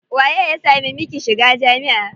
Waye ya sama miki shiga jami'a?